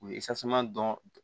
U ye dɔn